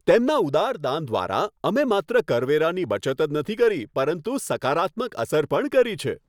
તેમના ઉદાર દાન દ્વારા, અમે માત્ર કરવેરાની બચત જ નથી કરી પરંતુ સકારાત્મક અસર પણ કરી છે!